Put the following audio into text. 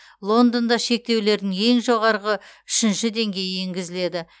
лондонда шектеулердің ең жоғарғы үшінші деңгейі енгізіледі